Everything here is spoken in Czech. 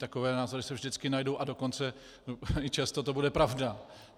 Takové názory se vždycky najdou, a dokonce i často to bude pravda.